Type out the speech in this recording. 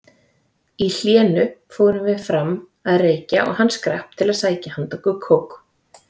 Í hléinu fórum við fram að reykja og hann skrapp að sækja handa okkur kók.